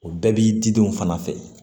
O bɛɛ b'i didenw fana fɛ